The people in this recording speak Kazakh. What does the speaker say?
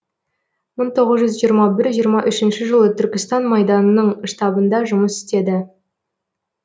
мың тоғыз жүз жиырма бір жиырма үшінші жылы түркістан майданының штабында жұмыс істеді